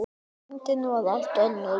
Reyndin var allt önnur.